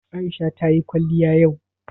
Aisha ta yi kwaliya yau?